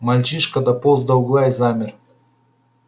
мальчишка дополз до угла и замер